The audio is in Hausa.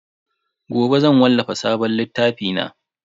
Gobe zan wallafa sabon littafi na.